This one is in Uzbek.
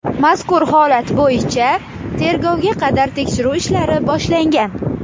Mazkur holat bo‘yicha tergovga qadar tekshiruv ishlari boshlangan.